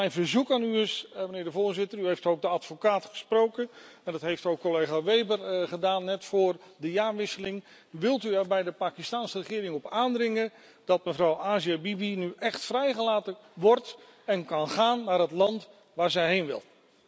Dus mijn verzoek aan u is, meneer de voorzitter u heeft ook de advocaat gesproken en dat heeft ook collega Weber gedaan net vóór de jaarwisseling wilt u er bij de Pakistaanse regering op aandringen dat mevrouw Asia Bibi nu echt vrijgelaten wordt en kan gaan naar het land waar ze heen wil.